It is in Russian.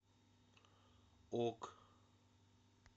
ок